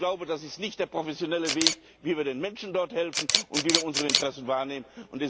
Und ich glaube, das ist nicht der professionelle Weg, wie wir den Menschen helfen und wie wir dort unsere Interessen wahrnehmen.